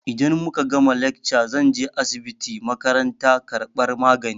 Idan muka gama lekca zan je asibitin makaranta karɓar magani.